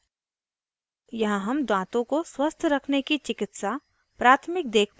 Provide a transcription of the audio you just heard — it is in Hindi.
digital divide के spoken tutorial में आपका स्वागत है